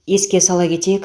еске сала кетейік